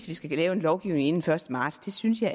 vi skal lave en lovgivning inden den første marts det synes jeg